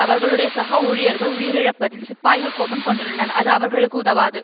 அவர்களுடைய சக ஊழியர்கள் உயிரிழப்பதில் சிப்பாய்கள் கோபம் கொண்டுள்ளனர் அது அவர்களுக்கு உதவாது